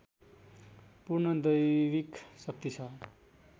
पूर्ण दैविक शक्ति छ